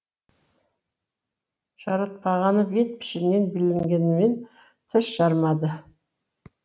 жаратпағаны бет пішінінен білінгенімен тіс жармады